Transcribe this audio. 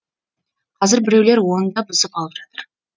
қазір біреулер оны да бұзып алып жатыр